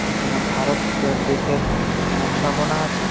পেছনে ভারত এর দেশের নকশা বনা আছে--